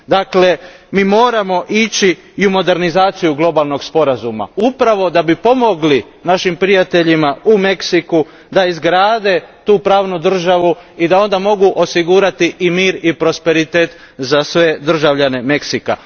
Dakle, mi moramo ići i u modernizaciju globalnog sporazuma upravo da bi pomogli našim prijateljima u Meksiku da izgrade tu pravnu državu i da onda mogu osigurati i mir i prosperitet za sve državljane Meksika.